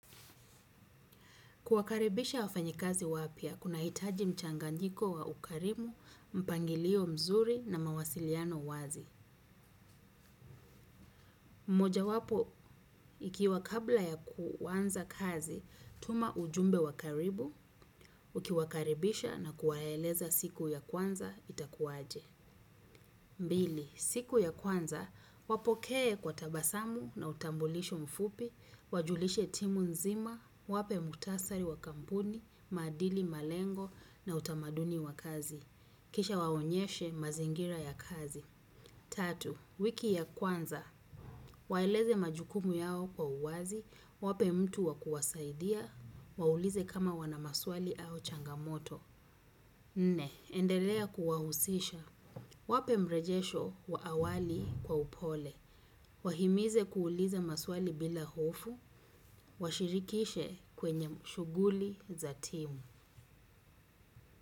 Kuwakaribisha wafanyikazi wapya, kuna itaji mchanganyiko wa ukarimu, mpangilio mzuri na mawasiliano wazi. Mmoja wapo, ikiwa kabla ya kuwanza kazi, tuma ujumbe wakaribu, ukiwakaribisha na kuwaeleza siku ya kwanza, itakuwaje. Mbili, siku ya kwanza, wapokee kwa tabasamu na utambulisho mfupi, wajulishe timu nzima, wape mukhtasari wa kampuni, maadili malengo na utamaduni wa kazi. Kisha waonyeshe mazingira ya kazi. Tatu, wiki ya kwanza waeleze majukumu yao kwa uwazi wape mtu wa kuwasaidia waulize kama wana maswali au changamoto nne endelea kuwahusisha. Wape mrejesho wa awali kwa upole. Wahimize kuuliza maswali bila hofu. Washirikishe kwenye shuguli za timu.